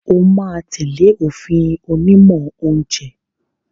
O máa tẹ̀lé òfin onímọ̀ oúnjẹ